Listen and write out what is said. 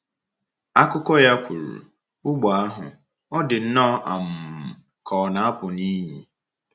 Akụkọ ya kwuru: “ Ụgbọ ahụ, ọ̀ dị nnọọ um ka ọ na-apụ n’iyi. ”